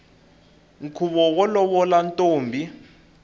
nkhuvo wo lovola ntombi